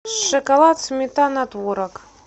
шоколад сметана творог